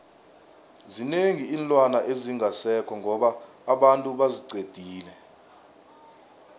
zinengi iinlwana ezingasekho ngoba abantu baziqedile